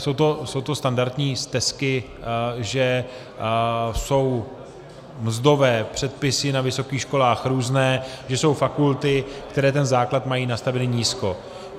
Jsou to standardní stesky, že jsou mzdové předpisy na vysokých školách různé, že jsou fakulty, které ten základ mají nastavený nízko.